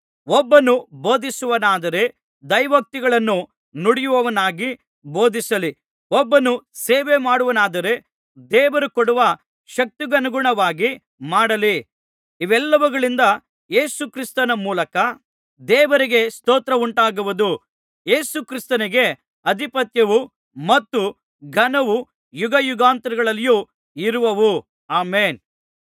ಒಬ್ಬನು ಬೋಧಿಸುವವನಾದರೆ ದೈವೋಕ್ತಿಗಳನ್ನು ನುಡಿಯುವವನಾಗಿ ಬೋಧಿಸಲಿ ಒಬ್ಬನು ಸೇವೆ ಮಾಡುವವನಾದರೆ ದೇವರು ಕೊಡುವ ಶಕ್ತಿಗನುಗುಣವಾಗಿ ಮಾಡಲಿ ಇವೆಲ್ಲವುಗಳಿಂದ ಯೇಸು ಕ್ರಿಸ್ತನ ಮೂಲಕ ದೇವರಿಗೆ ಸ್ತೋತ್ರ ಉಂಟಾಗುವುದು ಯೇಸು ಕ್ರಿಸ್ತನಿಗೆ ಅಧಿಪತ್ಯವೂ ಮತ್ತು ಘನವೂ ಯುಗಯುಗಾಂತರಗಳಲ್ಲಿಯೂ ಇರುವವು ಆಮೆನ್